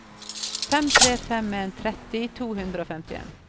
fem tre fem en tretti to hundre og femtien